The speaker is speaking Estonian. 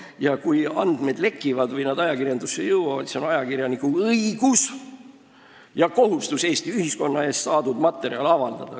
Ja kui andmed lekivad ja ajakirjanikuni jõuavad, siis on tal õigus ja kohustus Eesti ühiskonna ees saadud materjal avaldada.